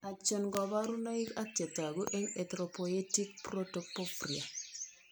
Achon kaborunoik ak chetogu eng' Erthropoetic protoporphria